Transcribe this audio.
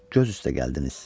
Göz üstə gəldiniz.